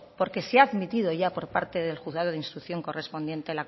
porque se admitido ya por parte del juzgado de instrucción correspondiente